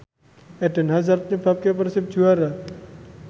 Eden Hazard nyebabke Persib juara